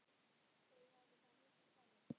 Þau væru þá miklu færri.